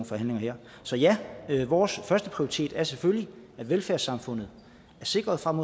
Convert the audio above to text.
forhandlinger her så ja vores førsteprioritet er selvfølgelig at velfærdssamfundet er sikret frem